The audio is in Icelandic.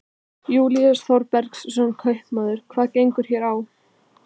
Júlíus Þorbergsson, kaupmaður: Hvað gengur hér á?